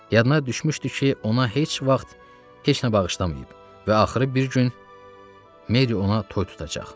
Yadına düşmüşdü ki, ona heç vaxt heç nə bağışlamayıb və axırı bir gün Meri ona toy tutacaq.